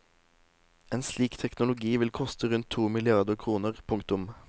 En slik teknologi vil koste rundt to milliarder kroner. punktum